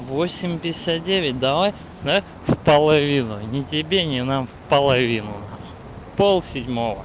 восемь пятьдесят девять давай да в половину не тебе не нам в половину пол седьмого